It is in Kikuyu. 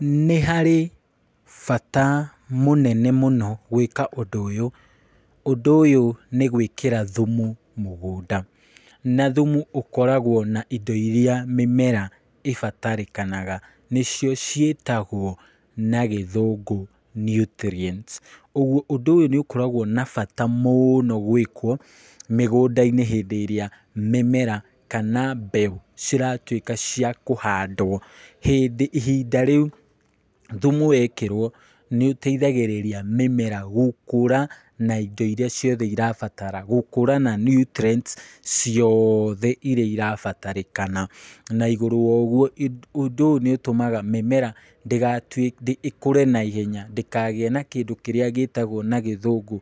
Nĩ harĩ bata mũnene mũno gwĩka ũndũ ũyũ, ũndũ ũyũ nĩ gwĩkĩra thumu mũgũnda, na thumu ũkoragwo na indo irĩa mĩmera ibatarĩkanaga nĩ cio ciĩtagwo na gĩthũngũ nutrients, ũguo ũndũ ũyũ nĩ ũkoragwo na bata mũno gwĩkwo mĩgũnda-inĩ, hĩndĩ ĩrĩa mĩmera kana mbeũ ciratwĩka cia kũhandwo, hĩndĩ ihinda rĩũ thumu wekĩrwo nĩ ũteithagĩrĩria mĩmera gũkũra na indo irĩa ciothe irabatara gũkũra na nutrients ciothe irĩa irabatarĩkana, na igũrũ wa ũguo ũndũ ũyũ nĩ ũtũmaga mĩmera ĩkũre na ihenya, ndĩkagĩe kĩndũ kĩrĩa gĩtagwo na gĩthũngũ